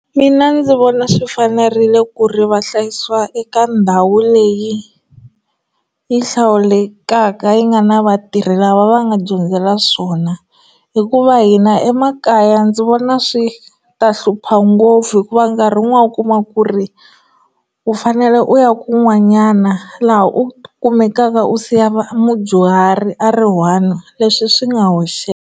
Mina ndzi vona swi fanerile ku ri va hlayisiwa eka ndhawu leyi yi hlawulekaka yi nga na vatirhi lava va nga dyondzela swona hikuva hina emakaya ndzi vona swi ta hlupha ngopfu hikuva nkarhi un'wana u kuma ku ri u fanele u ya kun'wanyana laha u kumekaka u siya va mudyuhari a ri one leswi swi nga hoxeka.